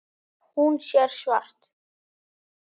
Hún sér svart.